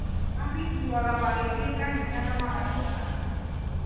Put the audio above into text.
Macikuuaga magĩthiĩ kanitha na magacoka nacio